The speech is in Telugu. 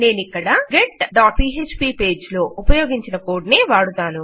నేనిక్కడ getపీఎచ్పీ పేజ్ లో ఉపయోగించిన కోడ్ నే వాడుతాను